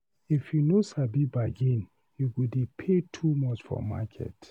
If you no sabi bargain, you go dey pay too much for market.